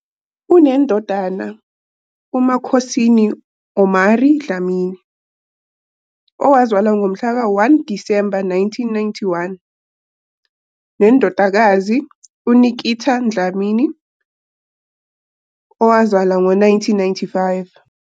Unendodana, uMakhosini "Omari" Dlamini, owazalwa ngomhlaka 1 Disemba 1991, nendodakazi, uNikita Dlamini, owazalwa ngo-1995.